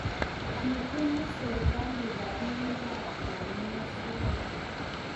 kibunu serikali robinikab kanyoiset